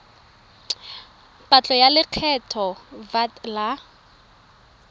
patlo ya lekgetho vat la